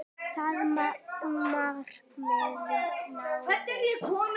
Það markmið náðist.